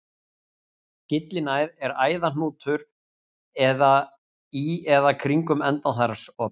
Gyllinæð er æðahnútur í eða kringum endaþarmsopið.